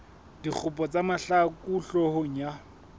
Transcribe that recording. dikgopo tsa mahlaku hloohong ya